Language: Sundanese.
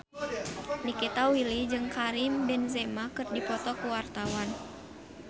Nikita Willy jeung Karim Benzema keur dipoto ku wartawan